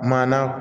Maana